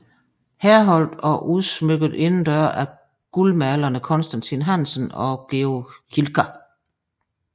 Herholdt og udsmykket indendøre af guldaldermalerne Constantin Hansen og Georg Hilker